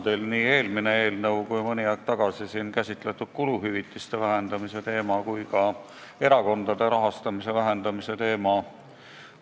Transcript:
Pean silmas nii eelmist eelnõu kui ka mõni aeg tagasi siin käsitletud kuluhüvitiste vähendamise ja erakondade rahastamise vähendamise teemat.